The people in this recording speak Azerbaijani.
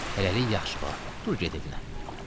Hələlik yaxşıca, bala, dur get evinə.